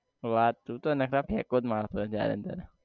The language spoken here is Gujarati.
વાત તું તો નખરા ફેકો મારે સે જયારે ત્યારે